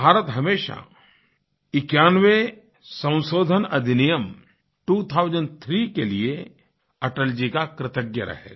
भारत हमेशा 91वें संशोधन अधिनियम त्वो थाउसेंड थ्री के लिए अटल जी का कृतज्ञ रहेगा